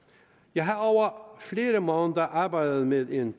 jeg har over flere måneder arbejdet med en